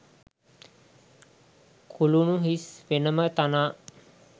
කුලුණු හිස් වෙනම තනා